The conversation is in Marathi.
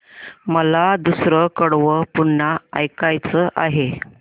मला दुसरं कडवं पुन्हा ऐकायचं आहे